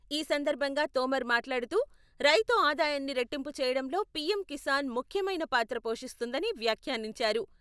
ఈ సందర్భంగా తోమర్ మాట్లాడుతూ, రైతు ఆదాయాన్ని రెట్టింపు చేయడంలో పిఎం కిసాన్ ముఖ్యమైన పాత్ర పోషిస్తుందని వ్యాఖ్యానించారు.